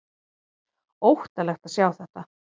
Óttalegt að sjá þetta!